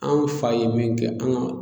An fa ye min kɛ an ka